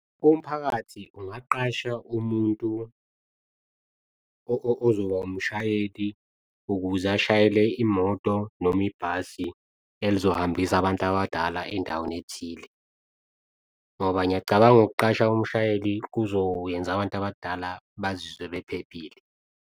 Umphakathi ungaqasha umuntu ozoba umshayeli ukuze ashayele imoto noma ibhasi elizohambisana abantu abadala endaweni ethile, ngoba ngiyacabanga ukuqasha umshayeli kuzowenza abantu abadala bazizwe bephephile.